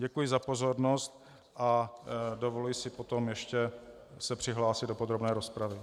Děkuji za pozornost a dovoluji si potom ještě se přihlásit do podrobné rozpravy.